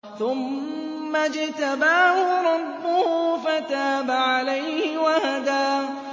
ثُمَّ اجْتَبَاهُ رَبُّهُ فَتَابَ عَلَيْهِ وَهَدَىٰ